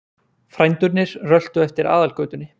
Frændurnir röltu eftir Aðalgötunni.